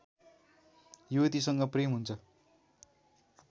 युवतीसँग प्रेम हुन्छ